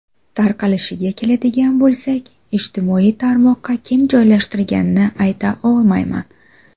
Tarqalishiga keladigan bo‘lsak, ijtimoiy tarmoqqa kim joylashtirganini ayta olmayman.